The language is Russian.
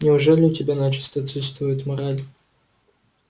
неужели у тебя начисто отсутствует мораль